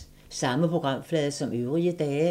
Samme programflade som øvrige dage